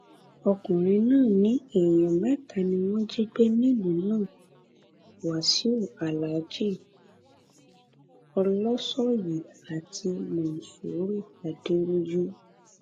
ọkùnrin náà ní èèyàn mẹta ni wọn jí gbé nílùú náà wáṣíù alhaji olosoye àti mòṣùrù adẹrọjú